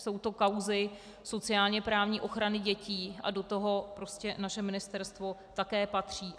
Jsou to kauzy sociálně-právní ochrany dětí a do toho prostě naše ministerstvo také patří.